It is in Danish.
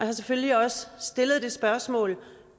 har selvfølgelig også har stillet det spørgsmål